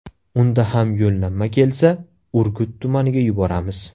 Unda ham yo‘llanma kelsa, Urgut tumaniga yuboramiz.